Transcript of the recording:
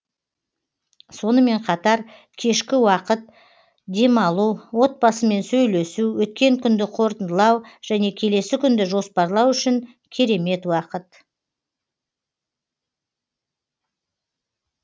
сонымен қатар кешкі уақыт демалу отбасымен сөйлесу өткен күнді қорытындылау және келесі күнді жоспарлау үшін керемет уақыт